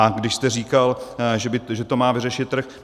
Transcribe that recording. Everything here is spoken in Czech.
A když jste říkal, že to má vyřešit trh.